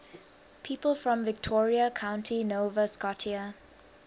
people from victoria county nova scotia